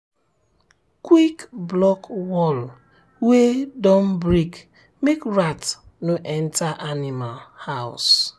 quick block wall wey don break make rat no enter animal house.